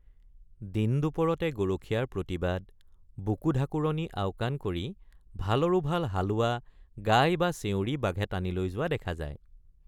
দিন দুপৰতে গৰখীয়াৰ প্ৰতিবাদ বুকু ঢাকুৰণি আওকাণ কৰি ভালৰো ভাল হালোৱা গাই বা চেউৰি বাঘে টানি লৈ যোৱা দেখা যায়।